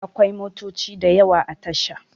Akwai motoci da yawa a tasha